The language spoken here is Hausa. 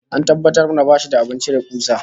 An tabbatar mana bashi da abin cire kusa